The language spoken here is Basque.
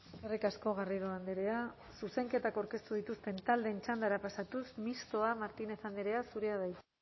eskerrik asko garrido andrea zuzenketak aurkeztu dituzten taldeen txandara pasatuz mistoa martínez andrea zurea da hitza